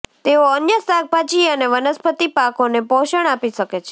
તેઓ અન્ય શાકભાજી અને વનસ્પતિ પાકોને પોષણ આપી શકે છે